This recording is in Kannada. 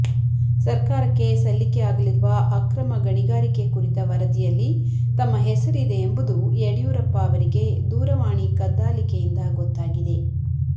ಸರ್ಕಾರಕ್ಕೆ ಸಲ್ಲಿಕೆ ಆಗಲಿರುವ ಅಕ್ರಮ ಗಣಿಗಾರಿಕೆ ಕುರಿತ ವರದಿಯಲ್ಲಿ ತಮ್ಮ ಹೆಸರಿದೆ ಎಂಬುದು ಯಡಿಯೂರಪ್ಪ ಅವರಿಗೆ ದೂರವಾಣಿ ಕದ್ದಾಲಿಕೆಯಿಂದ ಗೊತ್ತಾಗಿದೆ